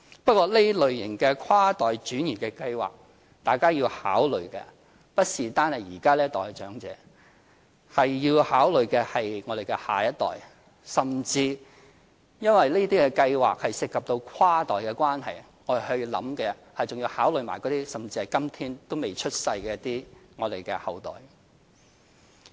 不過，對於這類型的跨代轉移計劃，大家要考慮的不單是這一代的長者，而是我們的下一代，甚至因為這些計劃是涉及跨代的關係，我們要考慮的，甚至是今天尚未出生的世代。